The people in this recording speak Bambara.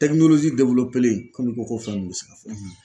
komi ko ko fɛn bɛ